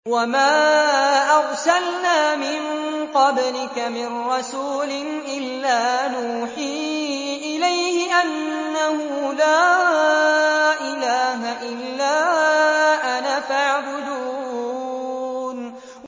وَمَا أَرْسَلْنَا مِن قَبْلِكَ مِن رَّسُولٍ إِلَّا نُوحِي إِلَيْهِ أَنَّهُ لَا إِلَٰهَ إِلَّا أَنَا فَاعْبُدُونِ